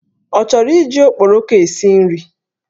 Ọ chọrọ iji okporoko esi nri?